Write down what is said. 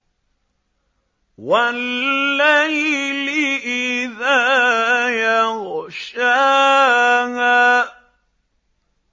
وَاللَّيْلِ إِذَا يَغْشَاهَا